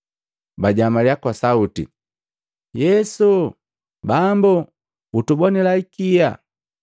bajamalya kwa sauti, “Yesu! Bambu! Utubonila ikia!”